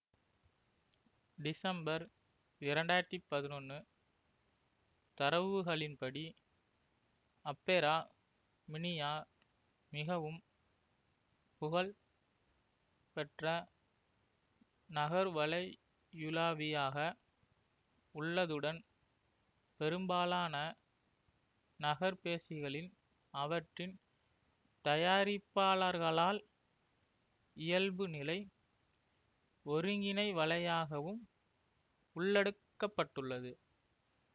December இரண்டு ஆயிரத்தி பதினொன்னு தரவுகளின்படி அப்பேரா மினியா மிகவும் புகழ் பெற்ற நகர்வலையுலாவியாக உள்ளதுடன் பெரும்பாலான நகர்பேசிகளில் அவற்றின் தயாரிப்பாளர்களால் இயல்புநிலை ஒருங்கிணைவலையாகவும் உள்ளடுக்கப்பட்டுள்ளது